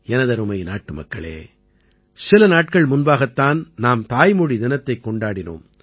எனதருமை நாட்டுமக்களே சில நாட்கள் முன்பாகத் தான் நாம் தாய்மொழி தினத்தைக் கொண்டாடினோம்